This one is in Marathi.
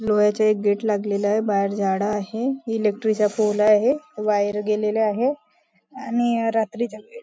लोह्याच्या एक गेट लागलेला आहे बाहेर झाड आहे इलेक्ट्रिक चा पोल आहे वायर गेलेल्या आहे आणि अं रात्रीचा वेळ --